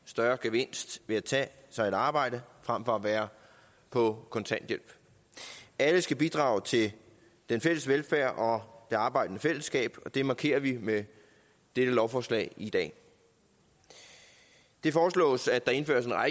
større gevinst ved at tage sig et arbejde frem for at være på kontanthjælp alle skal bidrage til den fælles velfærd og det arbejdende fællesskab og det markerer vi med dette lovforslag i dag det foreslås at der indføres